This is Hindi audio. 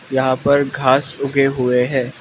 यहां पर घास उगे हुए हैं।